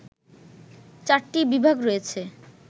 ৪ টি বিভাগ রয়েছে